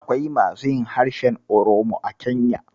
Akwai masu yin harshen Oromo a Kenya.